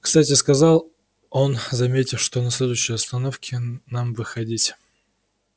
кстати сказал он заметив что на следующей остановке нам выходить